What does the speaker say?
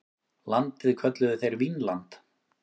Landið kölluðu þeir Vínland.